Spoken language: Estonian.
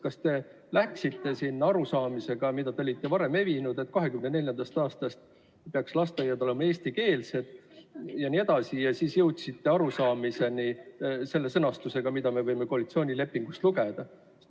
Kas te läksite sinna seisukohaga, mis teil on varem olnud, et 2024. aastast peaks lasteaiad olema eestikeelsed ja nii edasi, ja seal siis jõudsite selle sõnastusega arusaamani, mida me võime koalitsioonilepingust lugeda?